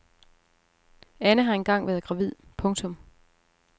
Anne har en gang været gravid. punktum